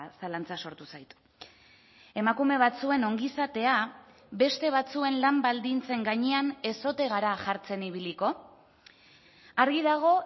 zalantza sortu zait emakume batzuen ongizatea beste batzuen lan baldintzen gainean ez ote gara jartzen ibiliko argi dago